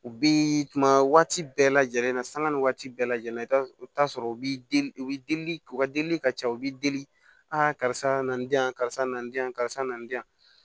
U bi tuma waati bɛɛ lajɛlen na sanga ni waati bɛɛ lajɛlen i bɛ t'a sɔrɔ u bɛ deli u bɛ deli u ka delili ka ca u bɛ deli a karisa na karisa na diyan karisa nan